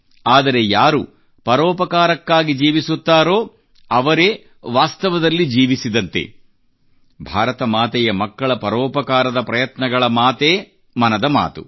ಆದರೆ ಯಾರು ಪರೋಪಕಾರಕ್ಕಾಗಿ ಜೀವಿಸುತ್ತಾರೋ ಅವರೇ ವಾಸ್ತವದಲ್ಲಿ ಜೀವಿಸಿದಂತೆ ಭಾರತ ಮಾತೆಯ ಮಕ್ಕಳ ಪರೋಪಕಾರದ ಪ್ರಯತ್ನಗಳ ಮಾತೇ ಮನದ ಮಾತು